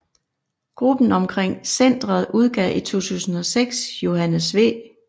Gruppen omkring centret udgav i 2006 Johannes V